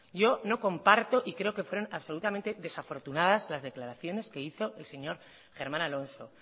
yo no comparto y creo que fueron absolutamente desafortunadas las declaraciones que hico el señor germán alonso